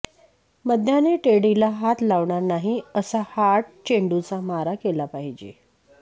मध्याने टेडीला हात लावणार नाही अशा हार्ड चेंडूचा मारा केला पाहिजे